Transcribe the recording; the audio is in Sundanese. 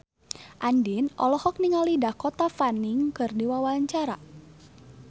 Andien olohok ningali Dakota Fanning keur diwawancara